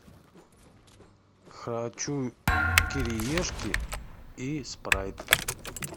хочу кириешки и спрайт